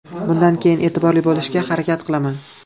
Bundan keyin e’tiborli bo‘lishga harakat qilaman.